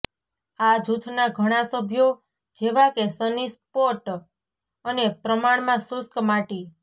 આ જૂથના ઘણા સભ્યો જેવા કે સની સ્પોટ અને પ્રમાણમાં શુષ્ક માટી